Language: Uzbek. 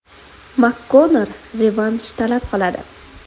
MakKonnor revansh talab qiladi.